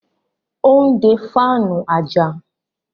ó ń de fáànù àjà.